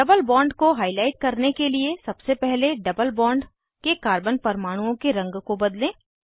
double bond को highlight करने के लिए सबसे पहले डबल बॉन्ड के कार्बन परमाणुओं के रंग को बदलें